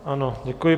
Ano, děkuji.